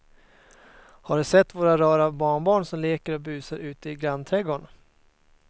Har du sett våra rara barnbarn som leker och busar ute i grannträdgården!